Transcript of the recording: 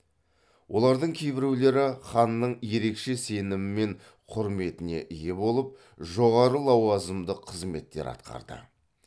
олардың кейбіреулері ханның ерекше сенімі мен құрметіне ие болып жоғары лауазымды қызметтер атқарды